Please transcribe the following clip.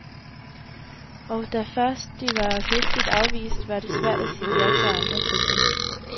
Og da først de var høfligt afvist, var det svært at sige ja til andre tilbud.